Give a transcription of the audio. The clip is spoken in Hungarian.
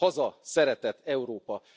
Haza, szeretet, Európa!